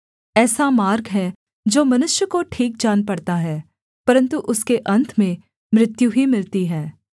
ऐसा मार्ग है जो मनुष्य को ठीक जान पड़ता है परन्तु उसके अन्त में मृत्यु ही मिलती है